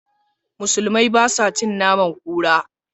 Musulmai ba sa cin naman kura.